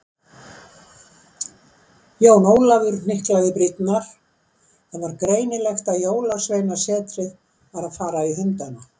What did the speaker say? Jón Ólafur hnyklaði brýnnar, það var greinilegt að Jólasveinasetrið var að fara í hundana.